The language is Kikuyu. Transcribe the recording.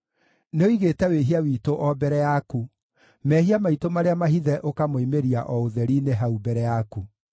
Nĩũigĩte wĩhia witũ o mbere yaku, mehia maitũ marĩa mahithe ũkamoimĩria o ũtheri-inĩ hau mbere yaku.